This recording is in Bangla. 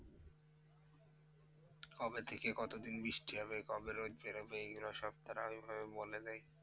কবে থেকে কতদিন বৃষ্টি হবে? কবে রোদ বেরবে? এগুলো সব তারা ঐভাবে বলে দেয়।